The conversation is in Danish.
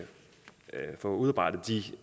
få udarbejdet